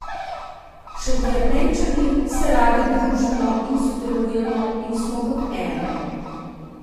Šentjernejčani se radi družimo in sodelujemo in smo kot eno.